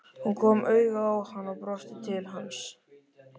Hún kom auga á hann og brosti til hans.